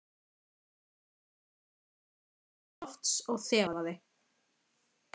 Hún horfði til lofts og þefaði.